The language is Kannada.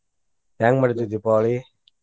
ಹೆಂಗ್ ಮಾಡ್ತಿರಿ ದೀಪಾವಳಿ?